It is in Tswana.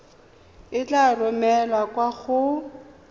e tla romelwa kwa go